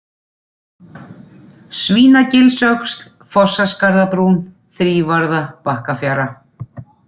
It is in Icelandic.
Svínagilsöxl, Fossaskarðabrún, Þrívarða, Bakkafjara